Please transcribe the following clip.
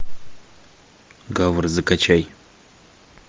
гавр закачай